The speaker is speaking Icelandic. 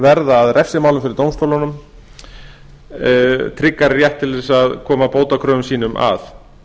verða að refsimálum fyrir dómstólunum tryggari rétt til að koma bótakröfum sínum að